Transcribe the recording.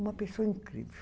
Uma pessoa incrível.